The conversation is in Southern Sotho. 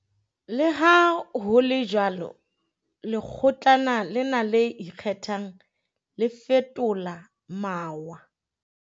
Leha ho le jwalo, Lekgo tlana lena le Ikgethang, le fetola mawa.